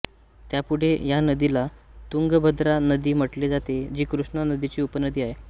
त्यापुढे या नदीला तुंगभद्रा नदी म्हटले जाते जी कृष्णा नदीची उपनदी आहे